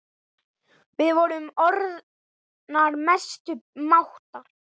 Við vorum orðnar mestu mátar.